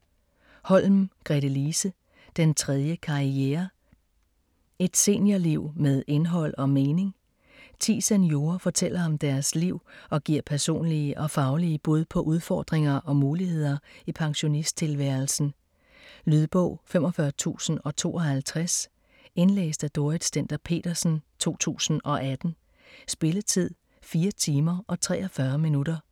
Holm, Gretelise: Den tredje karriere: et seniorliv med indhold og mening Ti seniorer fortæller om deres liv og giver personlige og faglige bud på udfordringer og muligheder i pensionisttilværelsen. Lydbog 45052 Indlæst af Dorrit Stender-Petersen, 2018. Spilletid: 4 timer, 43 minutter.